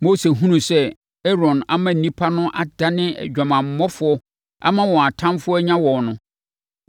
Mose hunuu sɛ Aaron ama nnipa no adane adwamammɔfoɔ ama wɔn atamfoɔ anya wɔn no,